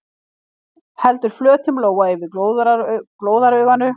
Heldur flötum lófa yfir glóðarauganu.